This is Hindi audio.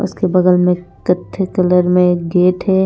उसके बगल में कत्थे कलर में गेट है।